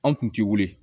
An kun ti wili